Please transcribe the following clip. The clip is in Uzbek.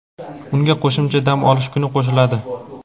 unga qo‘shimcha dam olish kuni qo‘shiladi.